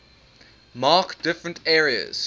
mark different areas